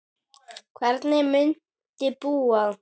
Hvernig muntu búa?